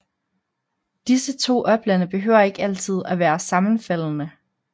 Disse to oplande behøver ikke altid at være sammenfaldende